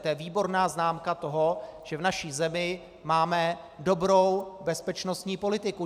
To je výborná známka toho, že v naší zemi máme dobrou bezpečnostní politiku.